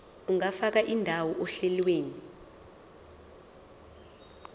ungafaka indawo ohlelweni